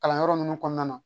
Kalanyɔrɔ ninnu kɔnɔna na